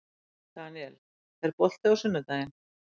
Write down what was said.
Daniel, er bolti á sunnudaginn?